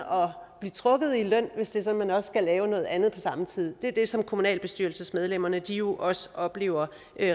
blive trukket i løn hvis det er sådan at man også skal lave noget andet på samme tid det er det som kommunalbestyrelsesmedlemmerne jo også oplever